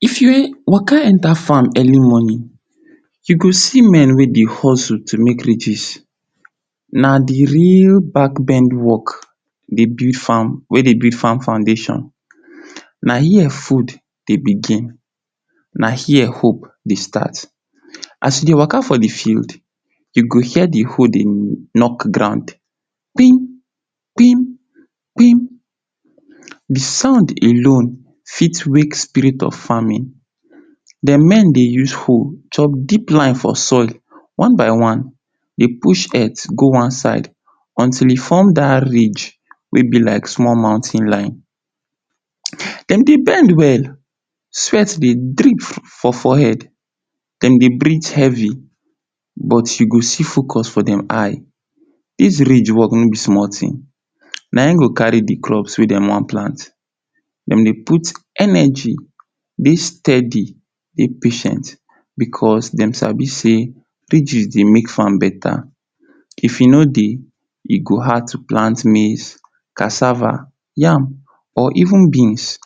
If you waka enta fam early moni, you go see men wey dey hozu to make rigis, na di real back bend work, dey build fam, wey dey build fam foundeshon. Na here fud dey bigin, na here hope dey start. As you dey waka for di field, you go hear di hoe dey nok ground: kpim! Kpim! Kpim! The sound alone fit wake spirit of famin. Dem men dey use hoe chop deep line for soil one by one, dey push earth go one side until e fom dat rij wey be like small mountain line. Dem dey bend well, swet dey drip for fohead, dem dey brit hevi but you go see fokos for dem eye. Dis rij work no be small tin, na in go kari di crop wey dem wan plant. Dem dey put eneji, dey stedi, dey patient becos dem sabi sey, rijis dey make fam beta. If e no dey, e go hard to plant maize, kasava, yam or even beans.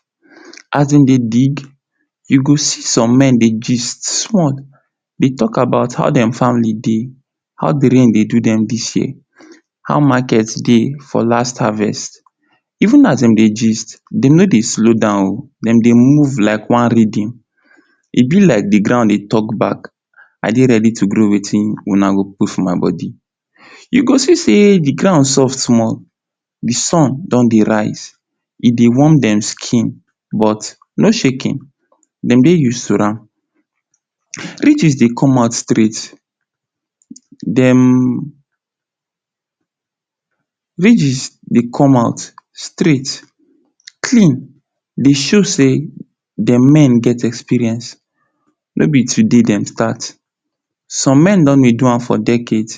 As dem dey dig, you gi see som men dey jist small, dem go Talk About how dem fam de dey, how di rain dey do dem dis year, how maket dey for last havest, even as dem dey jist, dem no dey slow down o. dem dey move like one redeem, e be like di ground dey talk bak;I dey redi to grow bak wetin wuna go put for my bodi. You go see sey, di ground soft small. If sun don dey rise, e dey warm dem skin, but no shekin, dem dey use to am. Rijis dey come out straight, dem[um] rijis dey come out straight, clean, e dey show sey dem men get experience, no be today dem stat, som men don dey do am for decade,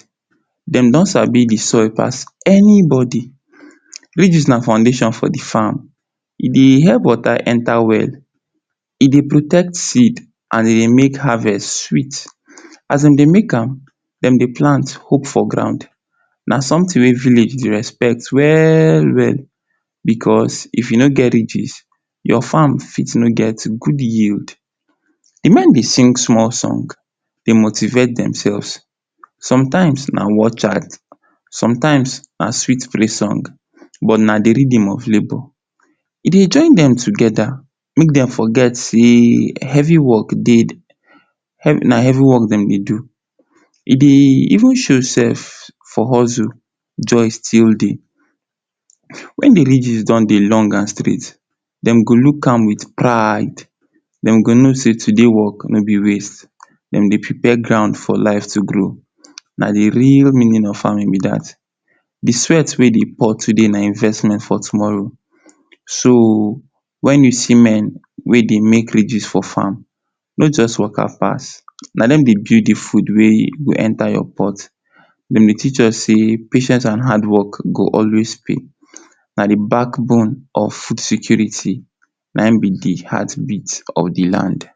dem don sabi di soil pas enibodi. Rijis na foundeshon for di fam, e dey help wota enta well, e dey protect seed and e dey make havest sweet. As dem dey make am, dem dey plant hope for ground, na somtin wey village dey respect we-we becos if you no get rijis, your fam fit no get gud yield. Di men dey sing small song, dey motivate demselves, somtime na watchout, somtime na sweet praise songs but na di redeem of labor. E join dem togeda make dem foget sey hevi work dey, na hevi work dem dey do. E dey even show sef for hozu, joy still dey. Wen di rijis don dey long and straight, dem go luk am wit pride, dem go no sey today work no be waste, dem dey prepare ground for life to grow. Na di real meanin of famin be dat. Di swet wey dey pour today na di investment for tomoro, so, wen you see men wey dey make rijis for fam, no just waka pas, na dem dey build di fud wey go enta your pot. Dem dey teach us sey, patient and hardwork go always pay, na di bakbone of fud security Na in be di heartbit of di land.